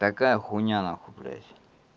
такая хуйня нахуй блять